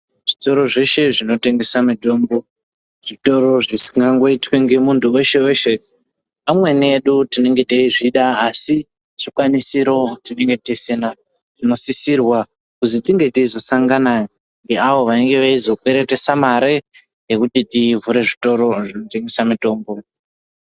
Zvitoro zveshe zvinotengese mitombo zvitoro zvisingangoitwi ngemunhu weshe weshe amweni edu tinenge teizvida asi zvikwanisiro tinenge tisina zvinosisirwa kuzi tinge teizosangana ngeavo vanenge veizokweretesa mare yekuti tivhure zvitoro zvinotengese mitombo.